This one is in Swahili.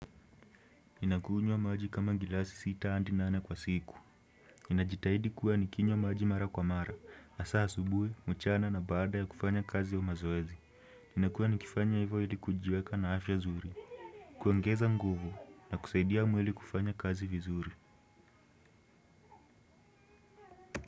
Ninakunywa maji kama glasi sita hadi nane kwa siku. Ninajitahidi kuwa nikinywa maji mara kwa mara, hasaa asubuhi, mchana na baada ya kufanya kazi ya mazoezi. Nakuwa nikifanya hivyo ili kujiweka na afya nzuri, kuongeza nguvu na kusaidia mwili kufanya kazi vizuri.